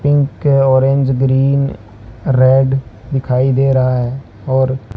pink orange green red दिखाई दे रहा है और--